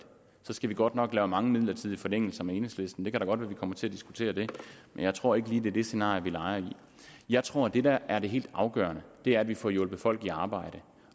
så skal vi godt nok lave mange midlertidige forlængelser med enhedslisten det kan da godt være at vi kommer til at diskutere det men jeg tror ikke lige det det scenarie vi leger i jeg tror at det der er det helt afgørende er at vi får hjulpet folk i arbejde